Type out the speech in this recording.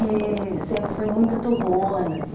E sempre fui muito turrona, assim.